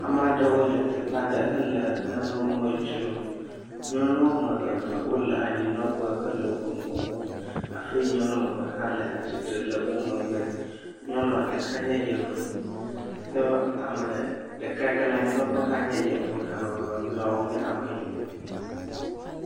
Ame aɖewo le teƒe aɖe hele nanewo me dzrom, nyɔnu woame eve le anyinɔƒe hele woƒe nuwo wɔm hafi nyɔnu woame ev hã le wo megbe nyɔnua ɖeka nye yevu ɖeka yi ke le anyinɔƒe hã nye yevu ame eve mamleawo nye ameyibɔ.